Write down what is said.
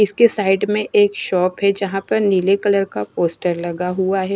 इसके साइड में एक शॉप है जहां पर नीले कलर का पोस्टर लगा हुआ है।